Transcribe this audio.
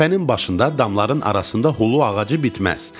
Təpənin başında, damların arasında hulu ağacı bitməz.